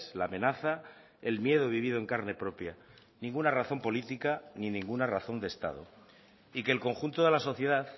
la amenaza el miedo vivido en carne propia ninguna razón política ni ninguna razón de estado y que el conjunto de la sociedad